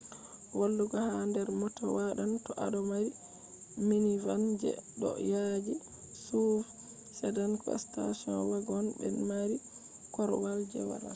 walugo ha der mota wadan to ado mari minivan je do yaaji suv sedan ko station wagon be mari korwal je walata